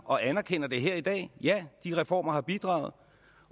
og anerkender det her i dag ja de reformer har bidraget